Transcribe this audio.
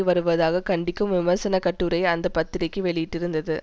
வருவதாக கண்டிக்கும் விமர்சனக்கட்டுரையை அந்த பத்திரிக்கை வெளியிட்டிருந்தது